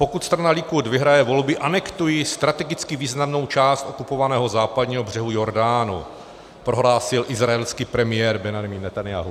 "Pokud strana Likud vyhraje volby, anektuji strategicky významnou část okupovaného Západního břehu Jordánu," prohlásil izraelský premiér Benjamin Netanjahu.